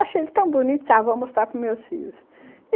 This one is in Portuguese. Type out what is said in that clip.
Achei ele tão bonito, disse, ah, vou mostrar para os meus filhos.